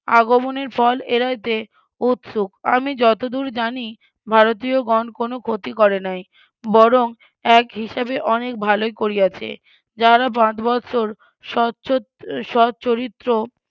আগমনের ফল এড়াইতে উৎসুক আমি যতদূর জানি ভারতীয়গণ কোনো ক্ষতি করে নাই বরং এক হিসাবে অনেক ভালোই করিয়াছে যাহারা পাঁচ বৎসর ~ স্বচরিত্র